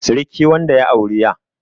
siriki wanda ya auri 'ya